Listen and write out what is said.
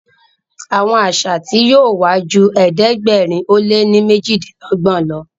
Àwọn àṣà tí yóò wá jù ẹ̀ẹ́dẹ̀gbẹ̀rin o lẹ ní mejidinlogbon ló.